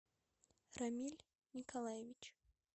рамиль николаевич